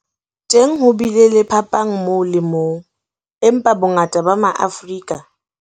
Teng ho bile le phapang moo le moo, empa bongata ba Ma-afrika